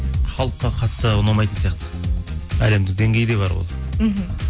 халыққа қатты ұнамайтын сияқты әлемдік деңгейде бар ол мхм